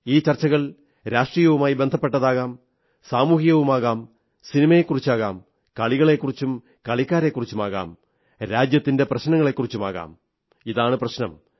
ഈ ചർച്ചകൾ രാഷ്ട്രീയവുമായി ബന്ധപ്പെട്ടുമാകാം സാമൂഹികവുമാകാം സിനിമയെക്കുറിച്ചുമാകാം കളികളെക്കുറിച്ചും കളിക്കാരെക്കുറിച്ചുമാകാം രാജ്യത്തിന്റെ പ്രശ്നങ്ങളെക്കുറിച്ചുമാകാം ഇതാണു പ്രശ്നം